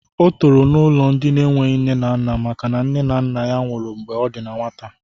O toro n'ụlọ ndị enweghị nne na nna maka na nne na nna ya nwụrụ mgbe ọ dị na nwata